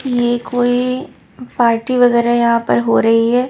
ये कोई पार्टी वगैरह यहाँ पर हो रही है।